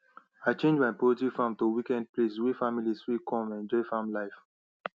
i change my poultry farm to weekend place wey families fit come enjoy farm life